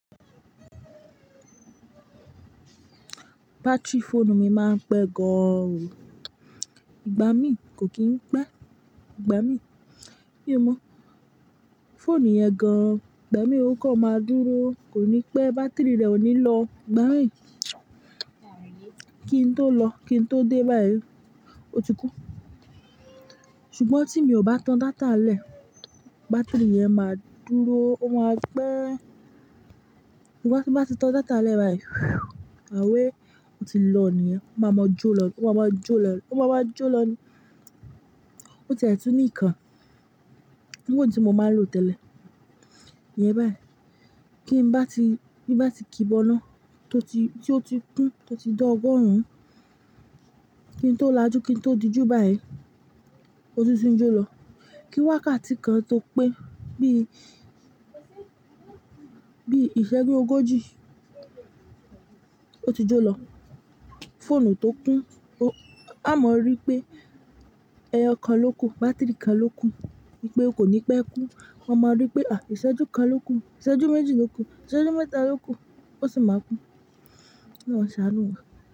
Batiri fóònù mi máa ń pẹ́ gan an o. Ìgbá mi kò kí ń pé. Ìgbá mi, mí o mọ́, fóònù yẹn gan an. Ìgbá mi ó kọ̀ máa dúró, kò ní pé batiri rẹ̀ ò ní lọ. Ìgbá mi, kí n tó lọ, kí n tó dé báyìí, ó ti kú. Ṣùgbọ́n tí mi ò bá tan data lẹ̀, batiri yẹn máa dúró, ó máa pẹ́. Ṣugbọn tí n bá ti tan data lẹ̀ báyìí, àwẹ́, ó ti lọ nìyẹn. Ó máa mọ jó lọ, ó máa má jó lọ, ó máa má jó lọ ni. Ó tiẹ̀ tun ní ìkan. Irú èyí tí mo máa ń lò tẹ́lẹ̀. Íyẹ́n báyìí. Kí n bá ti, bí bá ti kíbọná tó ti, tí ó ti kún, tó ti dọ́ ọgọ́rùn, kí n tó lajú, kí n tó di ju báyìí, ó tún tí jó lọ. Kí wákàtí kan tó pé bí, bí iṣẹ́jú ogójì, ó ti jó lọ. Fóònù tó kún, a máa rí pé ẹyọ kan ló kú, batiri kan ló kú, wípé kò ní pé kú. A máa rí pé, à, ìṣẹ́jú kan ló kú, ìṣẹ́jú méjì ló kú, ìṣẹ́jú mẹ́ta ló kú, ó sì máa kú. Olorun máa ṣàánú wa.